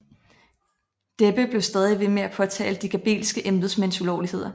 Debes blev stædigt ved med at påtale de Gabelske embedsmænds ulovligheder